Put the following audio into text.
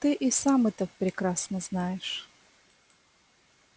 ты и сам это прекрасно знаешь